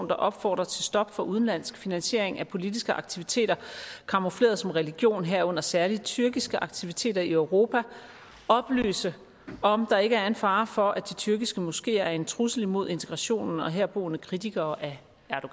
der opfordrer til stop for udenlandsk finansiering af politiske aktiviteter camoufleret som religion herunder særlig tyrkiske aktiviteter i europa oplyse om der ikke er en fare for at de tyrkiske moskeer er en trussel imod integrationen og herboende kritikere af